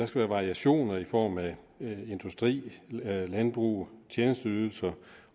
være variation i form af industri landbrug tjenesteydelser